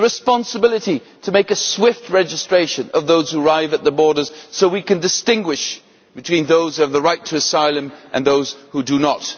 the responsibility to make a swift registration of those who arrive at the borders so we can distinguish between those who have the right to asylum and those who do not